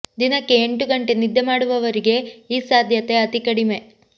ದಿನಕ್ಕೆ ಎಂಟು ಗಂಟೆ ನಿದ್ದೆ ಮಾಡುವವರಿಗೆ ಈ ಸಾಧ್ಯತೆ ಅತಿ ಕಡಿಮೆ